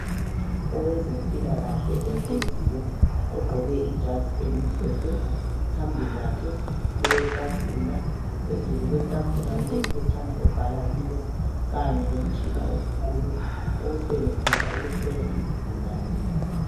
Owezempilakahle ohleziyo, ogqoke ijazi elimhlophe. Phambi kwakhe kuletafula. Phezu kwayo, kulomtshina omkhulu, awusebenzisa ukuhlola izigulane.